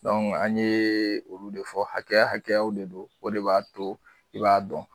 Dɔnku an ye olu de fɔ hakɛya hakɛya de don o de b'a to i b'a dɔn